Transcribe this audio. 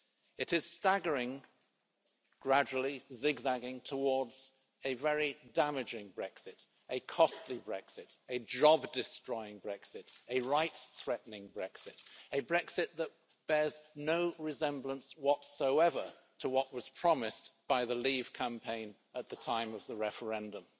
It is staggering, gradually zigzagging, towards a very damaging Brexit, a costly Brexit, a job destroying Brexit, a rights threatening Brexit, a Brexit that bears no resemblance whatsoever to what was promised by the leave campaign at the time of the referendum.